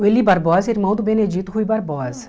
O Eli Barbosa é irmão do Benedito Rui Barbosa.